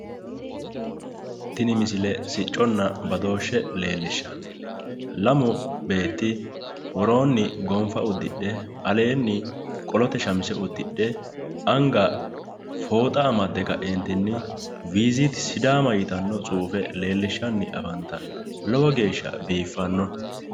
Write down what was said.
Tini misile sicconna badooshshe leellishshanno. Lamu beetti woroonni gonfa uddidhe aleenni qolote shamize uddidhe anga fooxa amadde ka'eentinni visiiti sidaama yitanno tsuufe leellishshanni afantanno lowo geeshsha biiffanno.